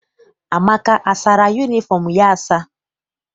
Amaka asara yunifọm ya asa?